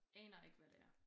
Aner ikke hvad det er